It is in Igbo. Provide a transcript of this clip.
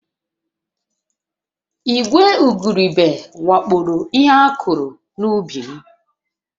Ìgwè igurube wakporo ihe a kụrụ n'ubi m